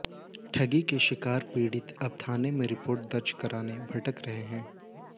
ठगी के शिकार पीड़ित अब थाने में रिपोर्ट दर्ज कराने भटक रहे हैं